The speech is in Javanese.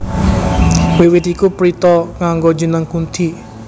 Wiwit iku Pritha nganggo jeneng Kunthi